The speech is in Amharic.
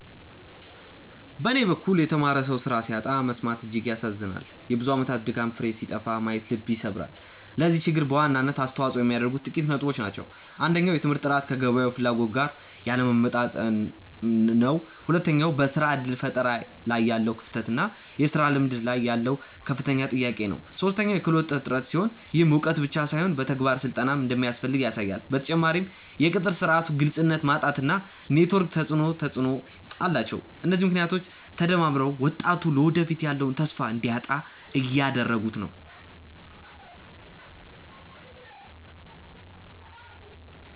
በኔ በኩል የተማረ ሰው ስራ ሲያጣ መሰማት እጅግ ያሳዝናል የብዙ አመታት ድካም ፍሬ ሲጠፋ ማየት ልብ ይሰብራል። ለዚህ ችግር በዋናነት አስተዋጽኦ የሚያደርጉት ጥቂት ነጥቦች ናቸው። አንደኛው የትምህርት ጥራት ከገበያው ፍላጎት ጋር ያለመጣጣም ነው። ሁለተኛው በስራ እድል ፈጠራ ላይ ያለው ክፍተት እና የስራ ልምድ ላይ ያለው ከፍተኛ ጥያቄ ነው። ሶስተኛው የክህሎት እጥረት ሲሆን፣ ይህም እውቀት ብቻ ሳይሆን የተግባር ስልጠናም እንደሚያስፈልግ ያሳያል። በተጨማሪም የቅጥር ስርዓቱ ግልጽነት ማጣት እና የኔትወርክ ተፅእኖ ተፅእኖ አላቸው። እነዚህ ምክንያቶች ተደማምረው ወጣቱ ለወደፊቱ ያለውን ተስፋ እንዲያጣ እያደረጉት ነው።